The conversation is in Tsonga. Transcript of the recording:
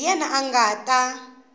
hi yena a nga ta